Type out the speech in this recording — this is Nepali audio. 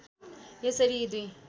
यसरी यी दुई